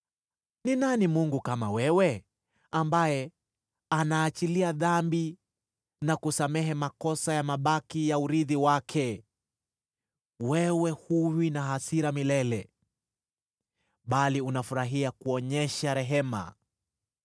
Ni nani Mungu kama wewe, ambaye anaachilia dhambi na kusamehe makosa ya mabaki ya urithi wake? Wewe huwi na hasira milele, bali unafurahia kuonyesha rehema.